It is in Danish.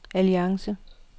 alliance